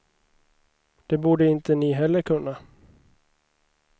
Det borde inte ni heller kunna.